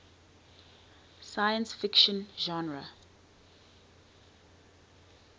science fiction genre